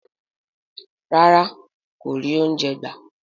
Rárá kò rí oúnjẹ gbà.